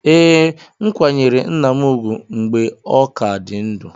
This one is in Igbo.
Ee, m kwanyere nna m ugwu mgbe ọ ka dị ndụ